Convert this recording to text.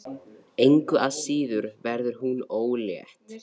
Engu að síður verður hún ólétt.